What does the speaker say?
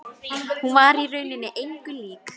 Hún var í rauninni engu lík.